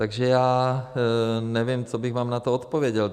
Takže já nevím, co bych vám na to odpověděl.